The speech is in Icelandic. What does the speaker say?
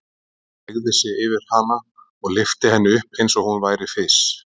Hann beygði sig yfir hana og lyfti henni upp eins og hún væri fis.